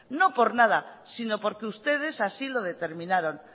no por nada sino porque ustedes así lo determinaron